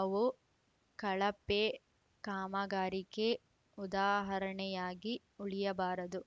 ಅವು ಕಳಪೆ ಕಾಮಗಾರಿಗೆ ಉದಾಹರಣೆಯಾಗಿ ಉಳಿಯಬಾರದು